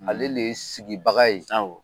Ale le ye sigibaga ye